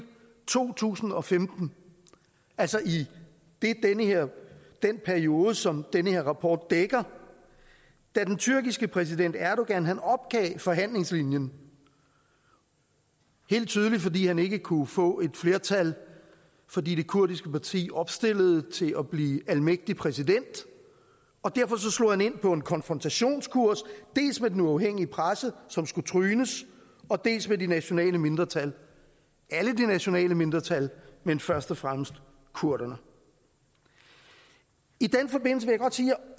to tusind og femten altså i den periode som den her rapport dækker da den tyrkiske præsident erdogan opgav forhandlingslinjen helt tydeligt fordi han ikke kunne få et flertal fordi det kurdiske parti opstillede til at blive almægtig præsident slog han ind på en konfrontationskurs dels med den uafhængige presse som skulle trynes dels ved de nationale mindretal alle de nationale mindretal men først og fremmest kurderne i den forbindelse vil